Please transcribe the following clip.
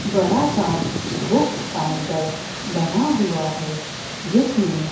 बड़ा सा book counter बना हुआ है जिसमें--